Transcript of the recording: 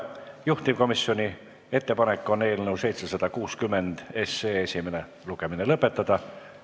Juhtivkomisjoni ettepanek on eelnõu 760 esimene lugemine lõpetada.